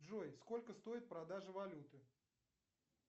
джой сколько стоит продажа валюты